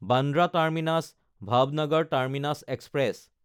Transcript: Bandra টাৰ্মিনাছ–ভাৱনগৰ terminus express